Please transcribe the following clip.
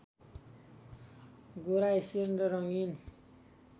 गोरा एसियन र रङ्गीन